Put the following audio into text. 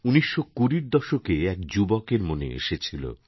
১৯২০র দশকে এক যুবকের মনে এসেছিল